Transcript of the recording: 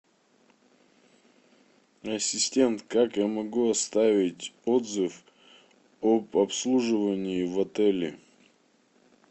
ассистент как я могу оставить отзыв об обслуживании в отеле